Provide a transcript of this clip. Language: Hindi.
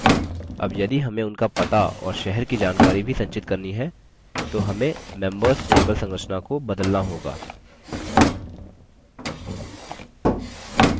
अब यदि हमें उनका पता और शहर की जानकारी भी संचित करनी है तो हमें members table संरचना को बदलना होगा